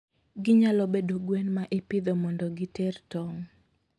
Ginyalo bedo gwen ma ipidho mondo giter tong'.